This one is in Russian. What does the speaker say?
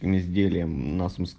изделиям нас мы ск